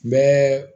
Bɛɛ